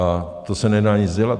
A to se nedá nic dělat.